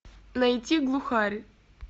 найти глухарь